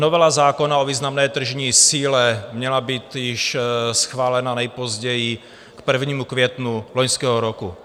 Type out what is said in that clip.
Novela zákona o významné tržní síle měla být již schválena nejpozději k 1. květnu loňského roku.